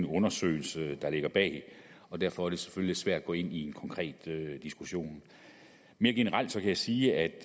undersøgelse der ligger bag og derfor er det selvfølgelig svært at gå ind i en konkret diskussion mere generelt kan jeg sige at